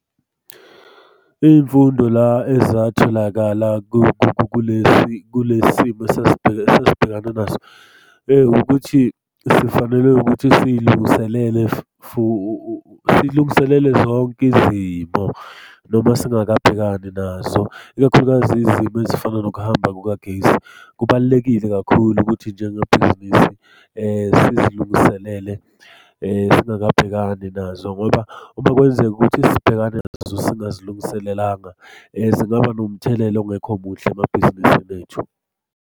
Iy'mfundo la ezatholakala kule simo esasibhekane naso, ukuthi sifanele ukuthi siy'lungiselele silungiselele zonke izimo, noma singakabhekani nazo. Ikakhulukazi izimo ezifana nokuhamba kukagesi. Kubalulekile kakhulu ukuthi njengebhizinisi sizilungiselele singakabhekani nazo ngoba uma kwenzeka ukuthi sibhekana nazo singazilungiselelanga zingaba nomthelela ongekho muhle emabhizinisini ethu.